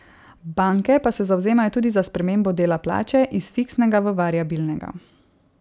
Banke pa se zavzemajo tudi za spremembo dela plače iz fiksnega v variabilnega.